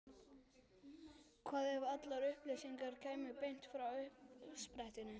Hvað ef allar upplýsingar kæmu beint frá uppsprettunni?